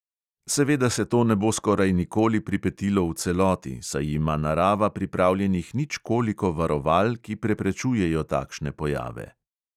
Seveda se to ne bo skoraj nikoli pripetilo v celoti, saj ima narava pripravljenih ničkoliko varoval, ki preprečujejo takšne pojave.